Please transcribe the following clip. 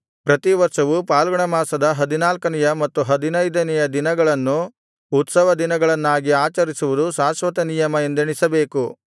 ಪ್ರತಿವರ್ಷವೂ ಫಾಲ್ಗುಣಮಾಸದ ಹದಿನಾಲ್ಕನೆಯ ಮತ್ತು ಹದಿನೈದನೆಯ ದಿನಗಳನ್ನು ಉತ್ಸವದಿನಗಳನ್ನಾಗಿ ಆಚರಿಸುವುದು ಶಾಶ್ವತನಿಯಮ ಎಂದೆಣಿಸಬೇಕು